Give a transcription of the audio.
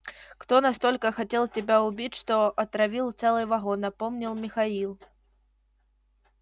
кто настолько хотел тебя убить что отравил целый вагон напомнил михаил